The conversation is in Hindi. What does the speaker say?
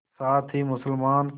साथ ही मुसलमान